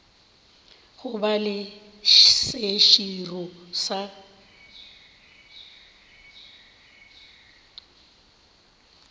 go ba le seširo sa